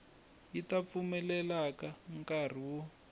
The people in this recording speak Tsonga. yi ta pfumelela nkari wo